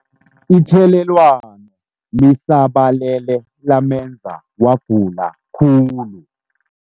Ithelelwano lisabalele lamenza wagula khulu.